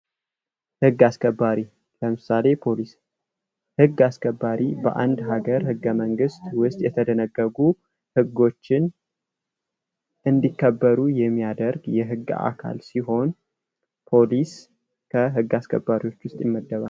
ህግ አስከባሪ በአንድ ሀገር ህገ መንግስት የተደነገጉ ህጎችን ለማስከበር የቆሙ ናቸው ።ፖሊስ ከህግ አስከባሪዎች መካከል ይመደባል።